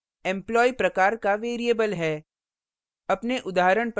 addr employee प्रकार का variable है